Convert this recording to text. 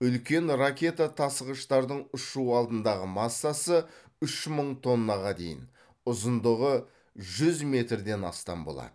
үлкен ракета тасығыштардың ұшу алдындағы массасы үш мың тоннаға дейін ұзындығы жүз метрден астам болады